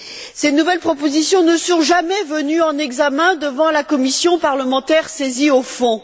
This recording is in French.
Ces nouvelles propositions ne sont jamais venues en examen devant la commission parlementaire saisie au fond.